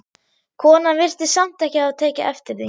Konan virtist samt ekki hafa tekið eftir því.